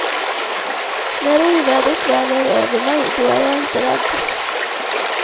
När ovädret väl är över mig, då är jag inte rädd.